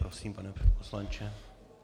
Prosím, pane poslanče.